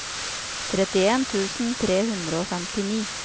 trettien tusen tre hundre og femtini